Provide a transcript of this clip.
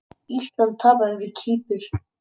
Ísland tapaði fyrir Kýpur